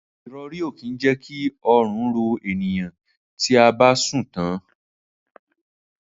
Irori ki je ki orun ro eniyan ti a ba sun tan